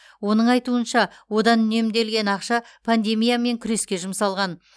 оның айтуынша одан үнемделген ақша пандемиямен күреске жұмсалған